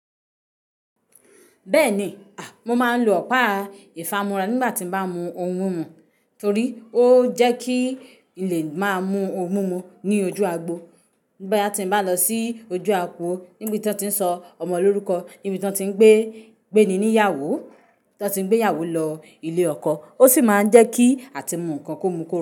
Bẹ́ẹ̀ni, à, mo máa ń lo ọ̀pá ìfámúrá nígbà tí mo bá mú ohun mú, torí ó jẹ́ kí n lè máa mú ohun mú ní ojú agbo. Boyà tí mo bá lọ sí ojú agbo, níbi tí wọ́n ti ń sọ ọmọ lórúkọ, níbi tí wọ́n ti ń gbé, gbé ni níyàwó, tí wọ́n ti ń gbé ìyàwó lọ ilé ọkọ, ó sì máa ń jẹ́ kí àtimú nǹkan kómu kórórun.